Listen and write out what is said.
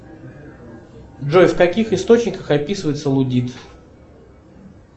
джой в каких источниках описывается лудит